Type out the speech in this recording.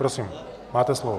Prosím, máte slovo.